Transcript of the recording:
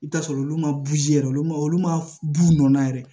I bi t'a sɔrɔ olu ma yɛrɛ olu ma olu ma b'a la yɛrɛ